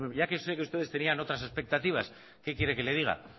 ya que sé que ustedes tenían otras expectativas qué quiere que le diga